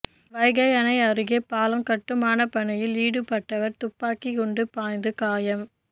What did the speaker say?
வைகை அணை அருகே பாலம் கட்டுமானப் பணியில் ஈடுபட்டவர் துப்பாக்கி குண்டு பாய்ந்து காயம்